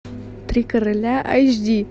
три короля аш ди